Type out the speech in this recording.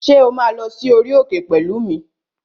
Ṣé o máa lọ sí orí òkè pẹ̀lú mi?